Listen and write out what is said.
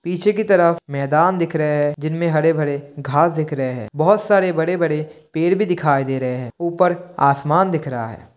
पीछे की तरफ मैदान दिख रहे हैं जिनमे हरे-भरे घांस दिख रहे हैं। बहुत सारे बड़े-बड़े पेड़ भी दिखाई दे रहे हैं। ऊपर आसमान दिख रहा है।